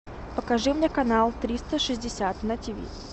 покажи мне канал триста шестьдесят на тиви